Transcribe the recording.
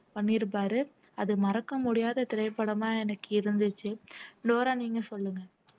பண்ணியிருப்பாரு அது மறக்க முடியாத திரைப்படமா எனக்கு இருந்துச்சு டோரா நீங்க சொல்லுங்க